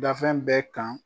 Dafɛn bɛ kan